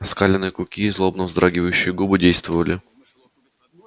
оскаленные клыки и злобно вздрагивающие губы действовали